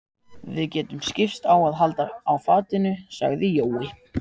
Við getum skipst á að halda á fatinu, sagði Jói.